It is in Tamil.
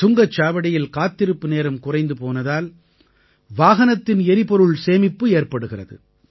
சுங்கச் சாவடியில் காத்திருப்பு நேரம் குறைந்து போனதால் வாகனத்தின் எரிபொருள் சேமிப்பு ஏற்படுகிறது